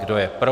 Kdo je pro?